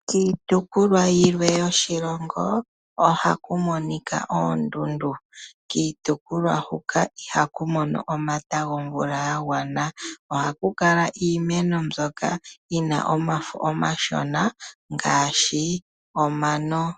Kiitopolwa yilwe yoshilongo ohaku monika oondundu, kiitopolwa huka ihaku mono omayakulo gomvula yagwana ohaku kala iimeno mbyoka yina omafo omashona ngaashi omano.